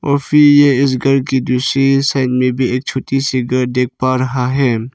और फिर ये इस घर की दूसरी साइड में भी एक छोटी सी घर देख पा रहा है।